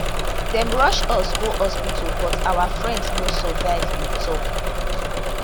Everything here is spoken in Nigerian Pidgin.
dem rush us go hospital but our friend no survive e tok